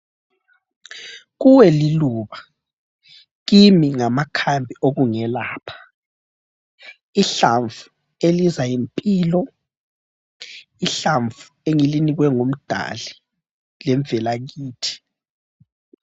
Kuwe liluba. Kimi ngamakhambi okungelapha. Ihlamvu eliza yimpilo. Ihlamvu engilinikwe ngumdali lemvelakithi.